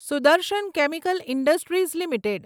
Sudarshan chemical industries limited